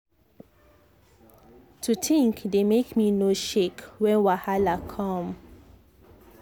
to think dey make me no shake when wahala come.